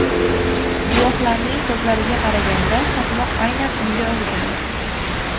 Guvohlarning so‘zlariga qaraganda, chaqmoq aynan unga urgan.